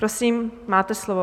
Prosím, máte slovo.